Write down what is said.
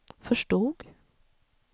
förstod